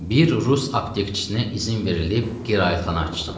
Bir Rus aptekçisinə izin verilib qiraətxana açsın.